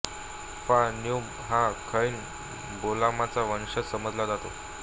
फा न्गुम हा खौन बौलोमचा वंशज समजला जातो